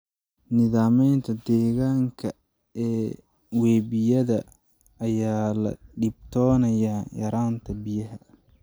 Nidaamyada deegaanka ee webiyada ayaa la dhibtoonaya yaraanta biyaha.